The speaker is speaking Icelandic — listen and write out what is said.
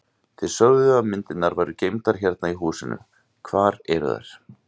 Þið sögðuð að myndirnar væru geymdar hérna í húsinu, hvar eru þær?